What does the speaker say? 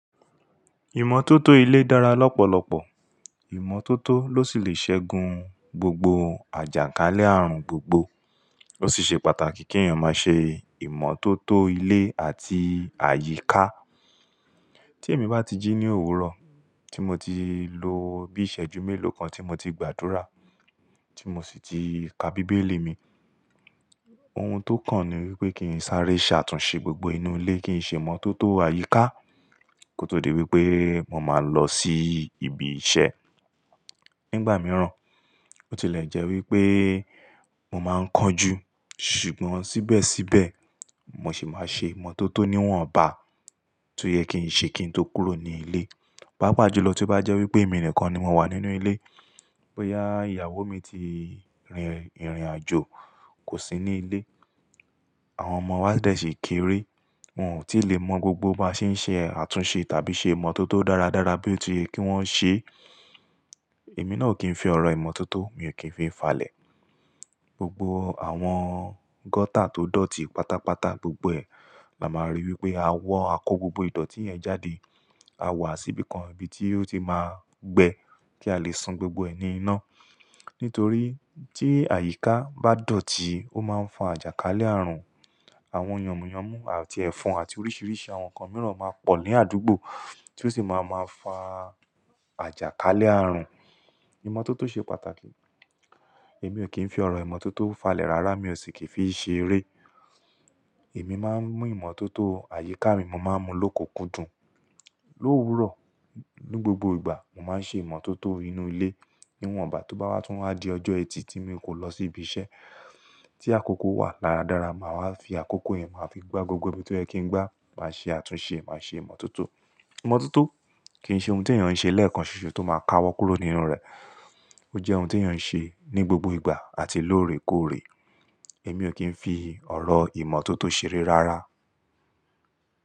Ìmọ́tótó ilé dára lọ́pọ̀lọpọ̀. Ìmọ́tótó ló sì le ṣẹ́gun gbogbo àjàkálẹ̀ ààrùn gbogbo. Ó sì ṣe pàtàkì kí èèyàn má ṣe ìmọ́tótó ilé àti àyíká. Tí èmi bá ti jí ní òwúrọ̀, tí mo ti lo bí ìṣẹ́jú méló kan tí mo ti gbàdúrà, tí mo sì ti ka Bíbélì mi, ohun tó kàn ni wípé kí n sáré ṣàtúnṣe gbogbo inú ilé, kí n ṣe ìmọ́tótó àyíká kó tó di wípé mo máa lọ sí ibi iṣẹ́. Nígbà mìíràn, bó ti lè jẹ́ wípé mo máa ń kánjú, ṣùgbọ́n síbẹ̀síbẹ̀ mo sì máa ṣe ìmọ́tótó níwọ̀nba tó yẹ kí n ṣe kí n tó kúrò ní ilé. Páapa jùlọ tí ó bá jẹ́ wípé èmi nìkan ni mo wà nínú ilé, bóyá ìyàwó mi ti rìn ìrìnàjò, kò sí ní ilé, àwọn ọmọ wa de sì kéré, wọn ò tí lè mọ gbogbo báa ṣé ń ṣe àtúnṣe tàbí ṣe ìmọ́tótó dáradára bí ó ti yẹ kí wọ́n ṣe, èmi náà ò kí ń fi ọ̀rọ̀ ìmọ́tótó, mi ò kí ń fi falẹ̀. Gbogbo àwọn gọ́tà tó dọ̀tí pátápátá, gbogbo ẹ̀, la máa rí wípé a wọ́ a kó gbogbo ìdọ̀tí yẹn jáde. A wá sí ibìkan, ibi tí ó ti máa gbẹ kí a lè sun gbogbo ẹ̀ ní iná. Nítorí tí àyíká bá dọ̀tí, ó máa ń fa àjàkálẹ̀-ààrùn. Àwọn yànmùyánmú àti ẹ̀fọn àti oríṣiríṣi àwọn nkan mìíràn máa pọ̀ ní àdúgbò tí ó sì máa máa fa àjàkálẹ̀-ààrùn. Ìmọ́tótó ṣe pàtàkì. Èmi ò kí ń fi ọ̀rọ̀ ìmọ́tótó falẹ̀ rárá, mi ò sì kí fi n ṣe eré. Èmi máa ń mú ìmọ́tótó àyíká mi, mo maá ń mu lókukundùn. Lòwúrọ̀, ní gbogbo ìgbà, mo má ń ṣe ìmọ́tótó inú ilé, níwọ̀nba tó bá wá tún wá di ọjọ́ ẹtì tí mi kò lọ sí ibi iṣẹ́, tí àkókò wà dáradára, màá wacfi àkókò yẹn, màá fi gbá gbogbo ibi tó yẹ kí n gbá, màá ṣe àtúnṣe, màá ṣe ìmọ́tótó. Ìmọ́tótó kì n ṣe ohun tí èèyàn ń ṣe lẹ́ẹ̀kan ṣoṣo tó máa ka wọ́ kúrò nínú rẹ̀. Ó jẹ́ ohun tí èèyàn ń ṣe ní gbogbo ìgbà àti lóòrèkóòrè. Èmi ò kí ń fi ọ̀rọ̀ ìmọ́tótó ṣeré rárá.